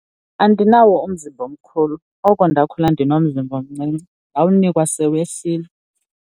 Andinawo umzimba omkhulu, oko ndakhula ndinomzimba omncinci ndawunikwa sewehlile.